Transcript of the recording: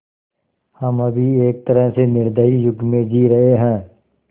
हम अभी एक तरह से निर्दयी युग में जी रहे हैं